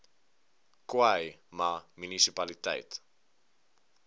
khâi ma munisipaliteit